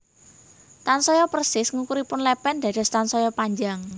Tansaya persis ngukuripun lèpèn dados tansaya panjang